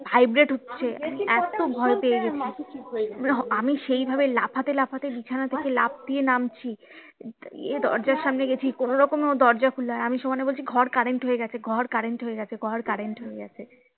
vibrate হচ্ছে এতো ভয় পেয়ে গেছি আমি সেই ভাবে লাফাতে লাফাতে বিছানা থেকে লাফ দিয়ে নামছি গিয়ে দরজার সামনে গেছি কোনোরকমে ও দরজা খুললো আমি সমানে বলছি ঘর current হয়ে গেছে ঘর current হয়ে গেছে ঘর current হয়ে গেছে